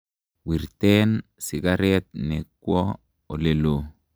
Wirten sikaret no kwo olelo.